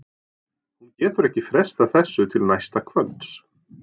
Hún getur ekki frestað þessu til næsta kvölds.